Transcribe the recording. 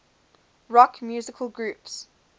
rock musical groups